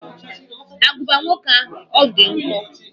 Agụba nwoke ahụ, ọ dị nkọ?